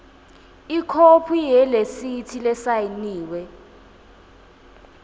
ikhophi yeresithi lesayiniwe